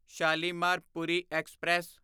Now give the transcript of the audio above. Shalimar Puri express